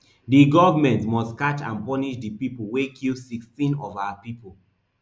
di government must catch and punish di people wey kill sixteen of our pipo